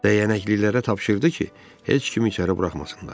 Dəyənəklilərə tapşırdı ki, heç kimi içəri buraxmasınlar.